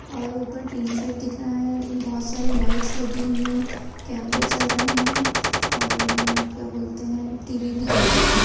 और ऊपर tin shed दिख रहा है बहोत सारी लाइटस लगी हुई है कैमरे चल रहे हैं और क्या बोलते हैं टी.वी भी चल रही है।